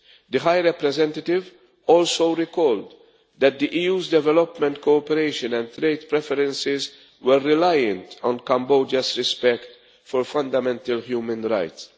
The High Representative also recalled that the EU's development cooperation and trade preferences were reliant on Cambodia's respect for fundamental human rights.